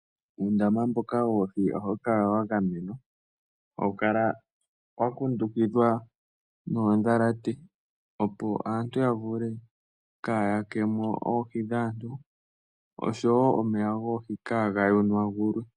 Uundama mboka woohi ohawu kala wa gamenwa. Hawu kala wa kundukithwa noodhalate opo aantu kaya vule kaa yakemo oohi dhaantu, oshowo omeya goohi kaaga yonagulwe.